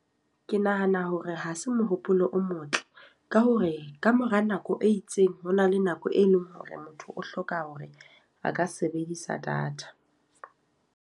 Ke nahana hore ha se mohopolo o motle. Ka hore, ka mora nako e itseng ho na le nako e leng hore motho o hloka hore a ka sebedisa data.